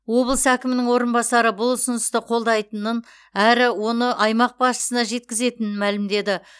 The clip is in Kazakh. облыс әкімінің орынбасары бұл ұсынысты қолдайтынын әрі оны аймақ басшысына жеткізетінін мәлімдеді